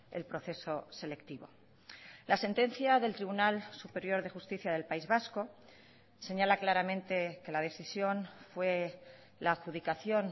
el proceso selectivo la sentencia del tribunal superior de justicia del país vasco señala claramente que la decisión fue la adjudicación